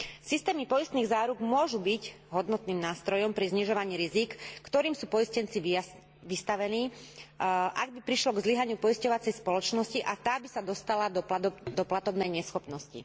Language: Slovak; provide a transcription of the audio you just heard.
Systémy poistných záruk môžu byť hodnotným nástrojom pri znižovaní rizík, ktorým sú poistenci vystavení, ak by prišlo k zlyhaniu poisťovacej spoločnosti a tá by sa dostala do platobnej neschopnosti.